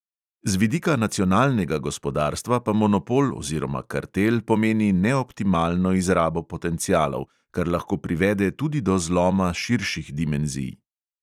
Z vidika nacionalnega gospodarstva pa monopol oziroma kartel pomeni neoptimalno izrabo potencialov, kar lahko privede tudi do zloma širših dimenzij.